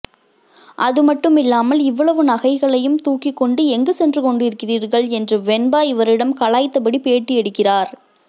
அதுமட்டுமில்லாமல் இவ்வளவு நகைகளையும் தூக்கிக்கொண்டு எங்கு சென்று கொண்டிருக்கிறீர்கள் என்று வெண்பா இவரிடம் கலாய்த்தபடி பேட்டி எடுக்கிறார்